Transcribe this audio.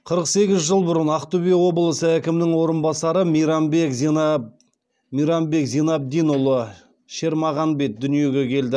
қырық сегіз жыл бұрын ақтөбе облысы әкімінің орынбасары мейрамбек зинабдинұлы шермағанбет дүниеге келді